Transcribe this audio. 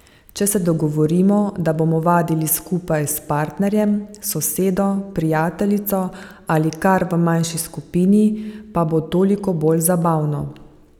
Če se dogovorimo, da bomo vadili skupaj s partnerjem, sosedo, prijateljico ali kar v manjši skupini, pa bo toliko bolj zabavno.